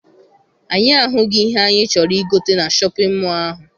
Anyị ahụghị ihe anyị chọrọ I gote na Shọpịn mọọ ahụ.